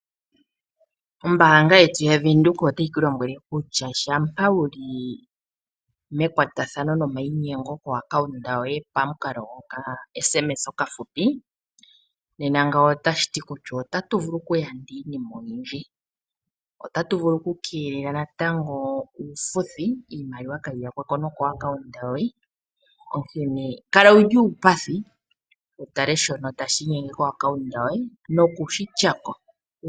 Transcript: O bank windhoek ohayi vulu oku keelela uufuthi . Shika ohaye shiningi nokuku tumina etumwalaka . Ngele etumwalaka inali ku adha ngoye holongitha o bank windhoek, ya dhengela ko nomola yawo yo mo mbelewa.